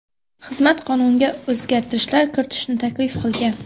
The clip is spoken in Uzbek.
Xizmat qonunga o‘zgartirishlar kiritishni taklif qilgan.